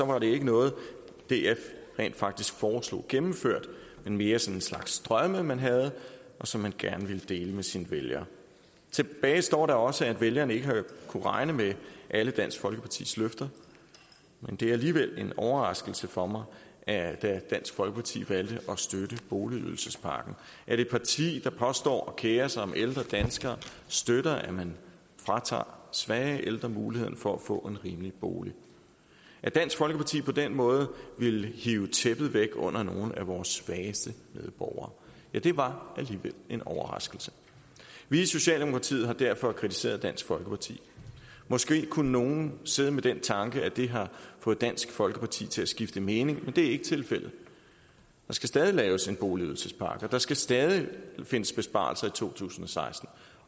var det ikke noget df rent faktisk foreslog gennemført men mere sådan en slags drømme man havde og som man gerne ville dele med sine vælgere tilbage står da også at vælgerne ikke har kunnet regne med alle dansk folkepartis løfter men det er alligevel en overraskelse for mig at dansk folkeparti valgte at støtte boligydelsespakken at et parti der påstår at kere sig om ældre danskere støtter at man fratager svage ældre muligheden for at få en rimelig bolig at dansk folkeparti på den måde ville hive tæppet væk under nogle af vores svageste medborgere ja det var alligevel en overraskelse vi i socialdemokratiet har derfor kritiseret dansk folkeparti måske kunne nogen sidde med den tanke at det har fået dansk folkeparti til at skifte mening men det er ikke tilfældet der skal stadig laves en boligydelsespakke og der skal stadig findes besparelser i to tusind og seksten